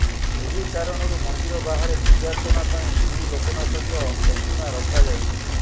ଏହି କାରଣରୁ ମନ୍ଦିର ବାହାରେ ପୂଜାର୍ଚ୍ଚନା ପାଇଁ ଶ୍ରୀଲୋକନାଥଙ୍କ ପ୍ରତିମା ରଖାଯାଇଛି